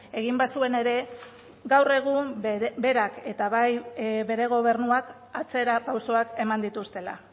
egin bazuen ere gaur egun berak eta bai bere gobernuak atzera pausoak eman dituztela